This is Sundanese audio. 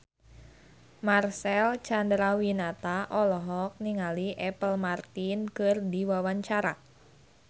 Marcel Chandrawinata olohok ningali Apple Martin keur diwawancara